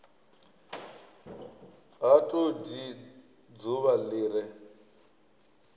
ha todi dzuvha li re